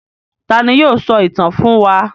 Ta ni yóò sọ ìtàn fún wa?